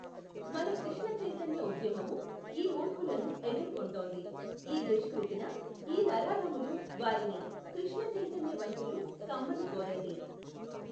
మన కృష్ణ చైతన్య ఉద్యమము ఈ మూర్ఖులను ఎదుర్కొంటోంది. ఈ దుష్కుృతిన ఈ నరాధములు వారిని కృష్ణ చైతన్య వంతులు కమ్మని కోరండి.